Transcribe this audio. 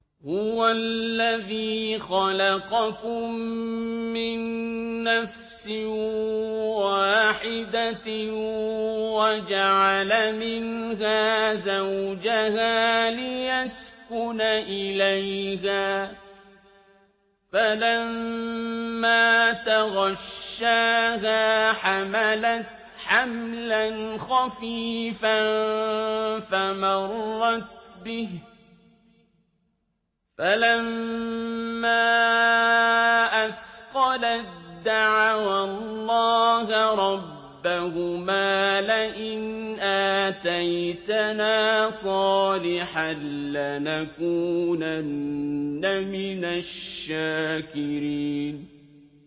۞ هُوَ الَّذِي خَلَقَكُم مِّن نَّفْسٍ وَاحِدَةٍ وَجَعَلَ مِنْهَا زَوْجَهَا لِيَسْكُنَ إِلَيْهَا ۖ فَلَمَّا تَغَشَّاهَا حَمَلَتْ حَمْلًا خَفِيفًا فَمَرَّتْ بِهِ ۖ فَلَمَّا أَثْقَلَت دَّعَوَا اللَّهَ رَبَّهُمَا لَئِنْ آتَيْتَنَا صَالِحًا لَّنَكُونَنَّ مِنَ الشَّاكِرِينَ